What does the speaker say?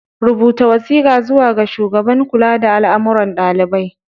Rubuta wasiƙa zuwa ga shugaban kula da al'amuran ɗalibai.